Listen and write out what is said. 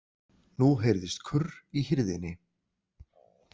Nú heyrðist kurr í hirðinni.